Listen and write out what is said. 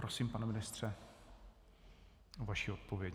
Prosím, pane ministře, o vaši odpověď.